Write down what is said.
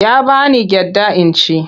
Ya ba ni gyaɗa in ci.